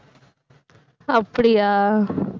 அப்படியா